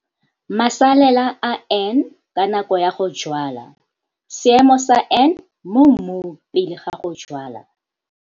Masalela a N ka nako ya go jwala, Seemo sa N mo mmung pele ga go jwala.